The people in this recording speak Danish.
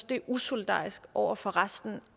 det er usolidarisk over for resten